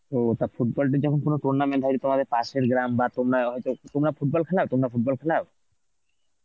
ও তা football টি যখন কোন tournament হয়নি তোমার পাশের গ্রাম আর তোমরা অ চ তোমরা football খেলাও? তোমরা football খেলাও?